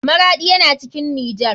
Maraɗi yana cikin nijar.